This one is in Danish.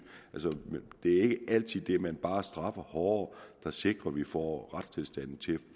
altså det er ikke altid det at man bare straffer hårdere der sikrer at vi får retstilstanden til at